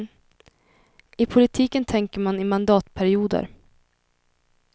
I politiken tänker man i mandatperioder.